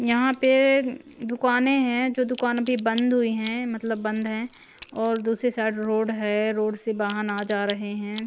यहाँ पे दुकानें हैं जो दुकान अभी बंद हुई हैं मतलब बंद हैं और दूसरी साइड रोड है रोड से वाहन आ जा रहे हैं।